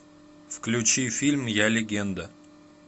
включи фильм я легенда